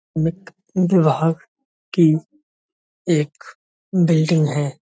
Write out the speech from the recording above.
विभाग की एक बिल्डिंग हैं।